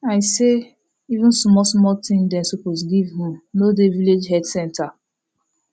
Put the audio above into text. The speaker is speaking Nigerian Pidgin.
i say even small small thing dem suppose give um no dey village health center